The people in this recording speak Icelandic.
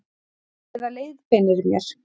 Eða leiðbeinir mér.